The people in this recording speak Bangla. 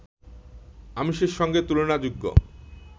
আমিষের সঙ্গে তুলনাযোগ্য